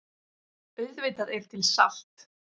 Auðvitað er til salt.